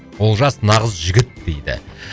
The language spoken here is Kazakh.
олжас нағыз жігіт дейді